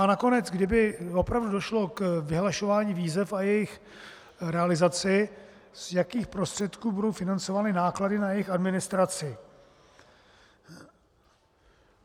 A nakonec, kdyby opravdu došlo k vyhlašování výzev a jejich realizaci, z jakých prostředků budou financovány náklady na jejich administraci?